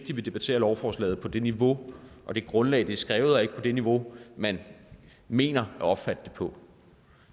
debatterer lovforslaget på det niveau og det grundlag det er skrevet og ikke på det niveau man mener at opfatte det på